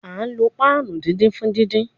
A lo panu didin fun didin